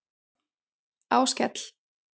Áskell